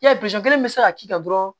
Yali kelen bɛ se ka k'i kan dɔrɔn